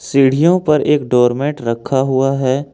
सीढ़ियों पर एक डोरमैट रखा हुआ है।